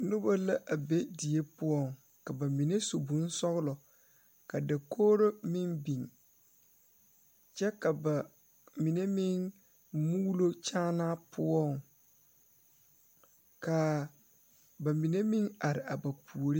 Noba la a be die poɔ ka bamine su bonsɔglɔ ka dakogre mine biŋ kyɛ ka bamine meŋ mulo kyaanaa poɔ kaa bamine meŋ are a ba puori.